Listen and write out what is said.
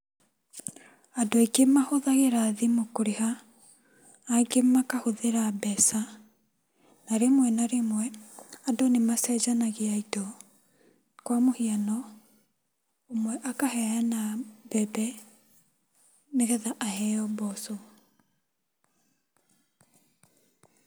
Andũ aingĩ mahũthagĩra thimũ kũrĩha, angĩ makahũthĩra mbeca na rĩmwe na rĩmwe andũ nĩmacenjanagia indo, kwa mũhuano, ũmwe akaheana mbembe nĩgetha aheo mboco.